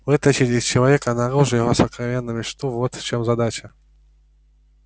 вытащить из человека наружу его сокровенную мечту вот в чём задача